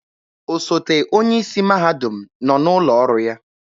Osote onye isi mahadum nọ n'ụlọ ọrụ ya.